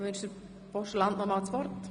Wünscht der Postulant noch einmal das Wort?